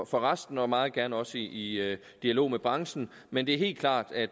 for resten og meget gerne også i dialog med branchen men det er helt klart at